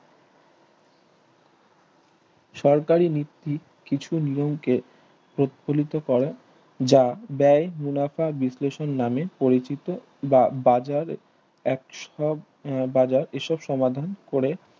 সরকারি নীতি কিছু নিয়ম কে প্রতুললিত করা যা ব্যায় মুনাফা বিশ্লেষণ নাম পরিচিত বা বাজার একসব আহ বাজার এসব সমাধান করে